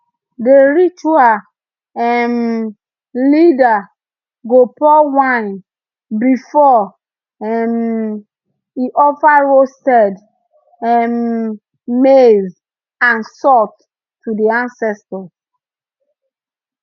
the ritual um leader go pour wine before um e offer roasted um maize and salt to the ancestors